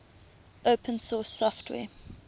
open source software